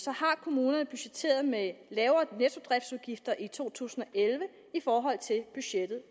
har kommunerne budgetteret med lavere nettodriftsudgifter i to tusind og elleve i forhold til budgettet